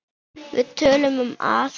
Við töluðum um allt.